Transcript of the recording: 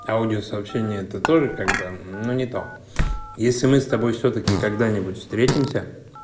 аудиосообщение это тоже как бы но не то если мы с тобой всё-таки когда-нибудь встретимся